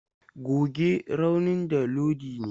Goge raunin da Iodine!